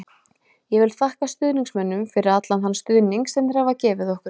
Ég vil þakka stuðningsmönnunum fyrir allan þann stuðning sem þeir hafa gefið okkur.